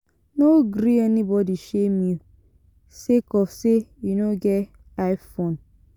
No gree anybodi shame you sake of sey you no get i-phone.